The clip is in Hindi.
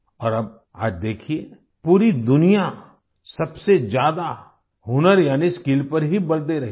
और अब आज देखिए पूरी दुनिया सबसे ज्यादा हुनर यानि स्किल पर ही बल दे रही है